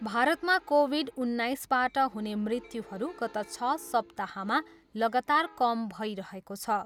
भारतमा कोभिड उन्नाइसबाट हुने मृत्युहरू गत छ सप्ताहमा लगातार कम भइरहेको छ।